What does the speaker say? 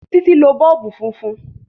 Títí lo bọ́ọ̀bù funfun